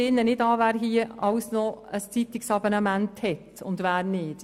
Ich frage jetzt nicht nach, wer hier im Rat noch ein Zeitungsabonnement hat und wer nicht.